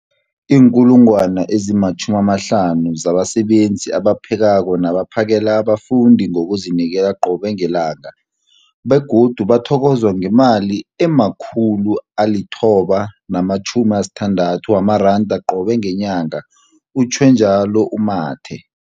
50 000 zabasebenzi abaphekako nabaphakela abafundi ngokuzinikela qobe ngelanga, begodu bathokozwa ngemali ema-960 wamaranda qobe ngenyanga, utjhwe njalo u-Mathe.